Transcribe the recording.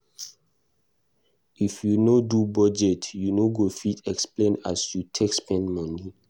If you no do budget, you no go fit explain as you take spend moni.